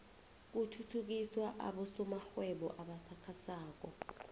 kuthuthukiswa abosomarhwebo abasakhasako